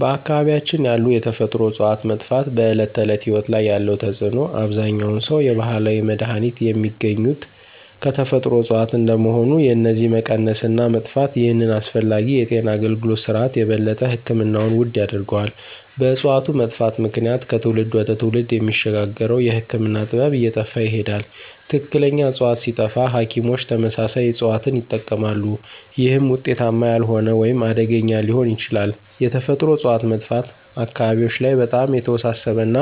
በአካባቢያችን ያሉ የተፈጥሮ እፅዋት መጥፋት በዕለት ተዕለት ሕይወት ላይ ያለው ተጽዕኖ አብዛኛውን ሰው የባህላዊ መድሃኒት የሚገኙት ከተፈጥሮ እጽዋት እንደመሆኑ የነዚህ መቀነስ እና መጥፋት ይህንን አስፈላጊ የጤና አገልግሎት ስርዓት የበለጠ ሕክምናውን ውድ ያደርገዋል። በእጽዋቱ መጥፋት ምክንያት ከትውልድ ወደ ትውልድ የሚሸጋገረው የህክምና ጥበብ እየጠፋ ይሄዳል። ትክክለኛ ዕፅዋት ሲጠፋ ሐኪሞች ተመሳሳይ እጽዋትን ይጠቀማሉ፣ ይህም ውጤታማ ያልሆነ ወይም አደገኛ ሊሆን ይችላል። የተፈጥሮ እጽዋት መጥፋት አካባቢዎች ላይ በጣም የተወሳሰበ እና